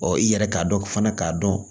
i yɛrɛ k'a dɔn fana k'a dɔn